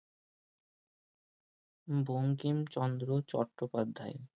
Bankimchandra Chattopadhyay